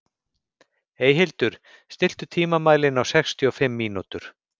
Eyhildur, stilltu tímamælinn á sextíu og fimm mínútur.